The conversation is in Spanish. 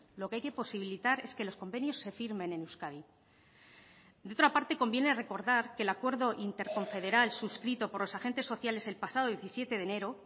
lo que hay que posibilitar es que los convenios se firmen en euskadi de otra parte conviene recordar que el acuerdo interconfederal suscrito por los agentes sociales el pasado diecisiete de enero